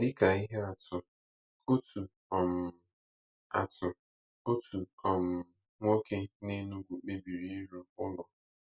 Dị ka ihe atụ, otu um atụ, otu um nwoke n’Enugu kpebiri ịrụ ụlọ.